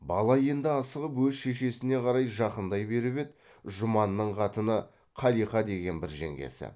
бала енді асығып өз шешесіне қарай жақындай беріп еді жұманның қатыны қалиқа деген бір жеңгесі